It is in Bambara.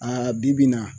A bi-bi in na